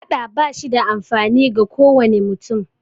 Faɗa ba shi da amfani ga kowane mutum